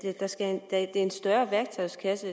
at der skal en større værktøjskasse